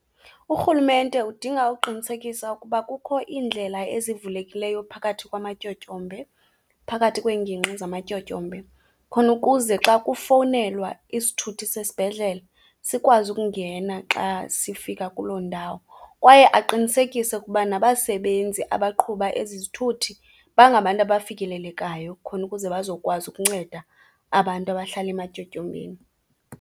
Urhulumente udinga ukuqinisekisa ukuba kukho iindlela ezivulekileyo phakathi kwamatyotyombe, phakathi kweengingqi zamatyotyombe, khona ukuze xa kufowunelwa isithuthi sesibhedlele sikwazi ukungena xa sifika kuloo ndawo, kwaye aqinisekise ukuba nabasebenzi abaqhuba ezi zithuthi bangabantu abafikelelekayo khona ukuze bazokwazi ukunceda abantu abahlala ematyotyombeni.